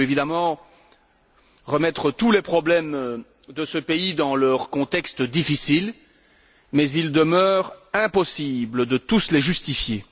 On peut évidemment replacer tous les problèmes de ce pays dans leur contexte difficile, mais il demeure impossible de tous les justifier.